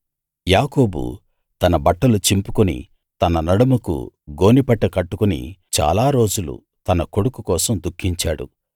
యాకోబు తన బట్టలు చింపుకుని తన నడుముకు గోనెపట్ట కట్టుకుని చాలా రోజులు తన కొడుకు కోసం దుఃఖించాడు